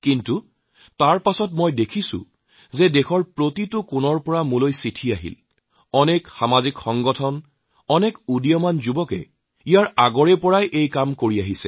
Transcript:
কিন্তু তাৰপাছত মই দেখিছোঁ যে দেশৰ প্ৰতিটো কোণৰ পৰা ইমান চিঠি আহিছে বহু সামাজিক সংগঠন বহু নৱ প্ৰজন্মই বহুত আগৰ পৰা এই কাম কৰিছে আহিছে